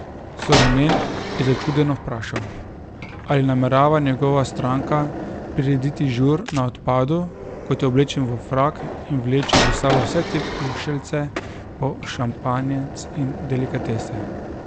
Sorjonen je začudeno vprašal, ali namerava njegova stranka prirediti žur na odpadu, ko je oblečen v frak in vlači s sabo vse te pušeljce pa šampanjec in delikatese.